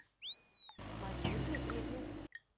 марине дмитриевне